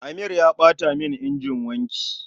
Amir ya ɓata mun injin wanki